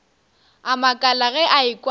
a makala ge a ekwa